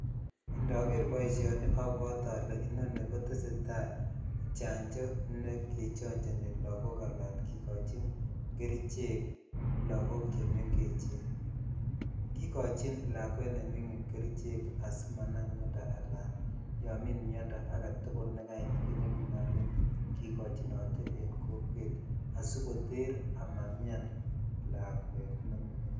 Ndoker boishoni obwote olee inonii kotesetai chanjo nekechonjoni lokok alaan kikochin keríchek logok chemeng'echen, kikochin lakwet neming'in kerichek asimanamiondo alaan yon mii miondo aketukul nekait kinome inyokikojinote en kokwet asikoter amamian lakwet neming'in.